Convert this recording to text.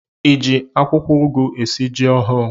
Ị ji akwụkwọugwu esi ji ọhụ̣ụ?